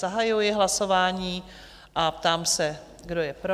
Zahajuji hlasování a ptám se, kdo je pro?